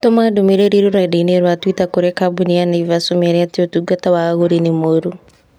Tũma ndũmĩrĩri rũrenda-inī rũa tũita kũrĩ kambuni ya Naivas ũmeere atĩ ũtungata wa agũri nĩ mũũru.